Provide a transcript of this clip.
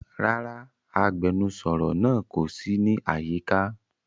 Rara, agbẹnusọro naa ko si ni ayika.